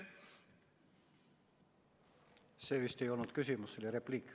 See vist ei olnud küsimus, see oli repliik.